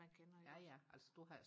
man kender ikke også